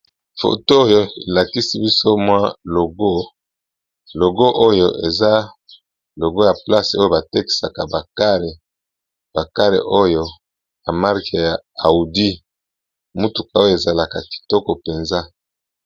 Photo oyo elakisi biso mwa logo logo oyo eza logo ya place oyo batekisaka akarebakare oyo amarke ya audi motuka oyo ezalaka kitoko mpenza.